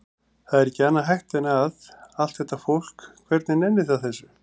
Það er ekki annað hægt en að. allt þetta fólk, hvernig nennir það þessu?